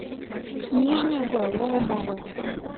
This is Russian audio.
нижнего ломова